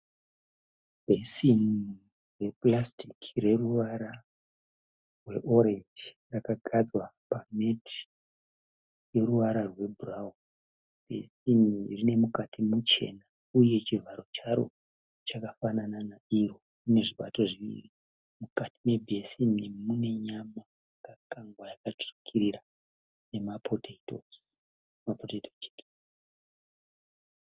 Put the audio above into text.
Bheseni repurasitiki reruvara rweorenji rwakagadzwa pameti rweruvara rwebhurauni. Bheseni rine mukati muchena uye chivharo charo chakafanana nezvibato zviviri Mukati me bheseni mune nyama yakakangwa akatsvukira nemapotoitozi